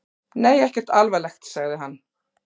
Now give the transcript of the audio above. Nei, ekkert alvarlegt, sagði hann.